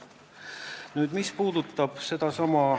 Nüüd piirist.